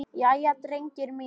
Jæja, drengir mínir!